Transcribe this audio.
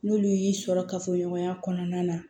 N'olu y'i sɔrɔ kafoɲɔgɔnya kɔnɔna na